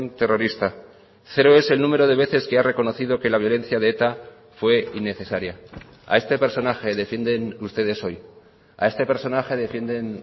terrorista cero es el número de veces que ha reconocido que la violencia de eta fue innecesaria a este personaje defienden ustedes hoy a este personaje defienden